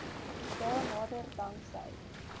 dae nader danksy